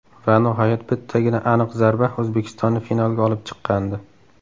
Va nihoyat bittagina aniq zarba O‘zbekistonni finalga olib chiqqandi.